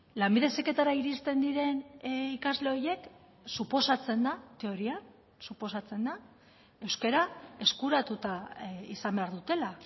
lanbide heziketara iristen diren ikasle horiek suposatzen da teorian suposatzen da euskara eskuratuta izan behar dutela